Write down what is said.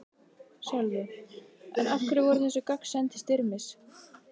Sölvi: En af hverju voru þessi gögn send til Styrmis?